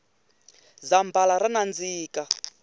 zambhala ra nandzika